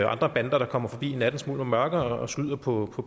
andre bander der kommer forbi i nattens mulm og mørke og skyder på